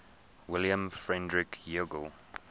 wilhelm friedrich hegel